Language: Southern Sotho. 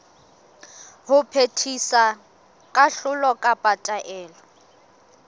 ho phethisa kahlolo kapa taelo